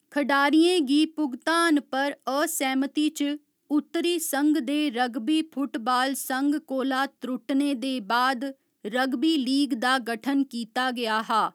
खडारियें गी भुगतान पर असैह्‌मति च उत्तरी संघ दे रग्बी फुटबाल संघ कोला त्रुट्टने दे बाद रग्बी लीग दा गठन कीता गेआ हा।